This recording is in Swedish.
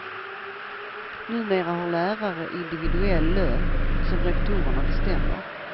Numera har lärare individuell lön, som rektorerna bestämmer.